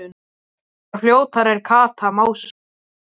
Ég var fljótari en Kata, másaði